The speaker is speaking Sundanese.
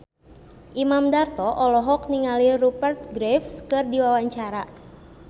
Imam Darto olohok ningali Rupert Graves keur diwawancara